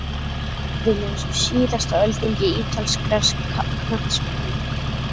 Líður mér eins og síðasta öldungi ítalskrar knattspyrnu?